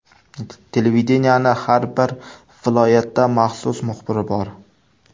Televideniyening har bir viloyatda maxsus muxbiri bor.